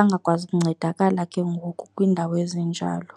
angakwazi ukuncedakala ke ngoku kwiindawo ezinjalo.